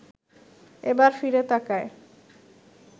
এবার ফিরে তাকায়